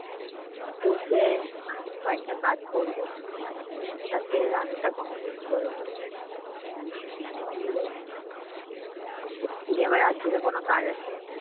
বসে কয়েকটা কাজ করব। রাতের রান্নাটা complete করে নিই। দিয়ে য~ যদি আবার রাত্রে কোন কাজ আসে।